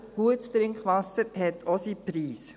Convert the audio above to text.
Gutes Trinkwasser hat auch seinen Preis.